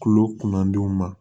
Kulo kundenw ma